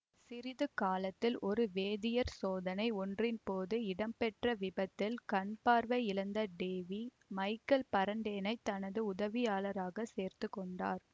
சிறிது காலத்தில் ஒரு வேதியியற் சோதனை ஒன்றின்போது இடம்பெற்ற விபத்தில் கண்பார்வை இழந்த டேவி மைக்கேல் பரடேயைத் தனது உதவியாளராகச் சேர்த்துக்கொண்டார்